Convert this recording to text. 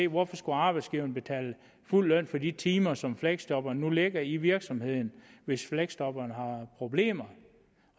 hvorfor skulle arbejdsgiveren betale fuld løn til de timer som fleksjobbere nu lægger i virksomheden hvis fleksjobberen har problemer